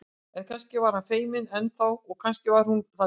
En kannski var hann feiminn enn þá og kannski var hún það líka.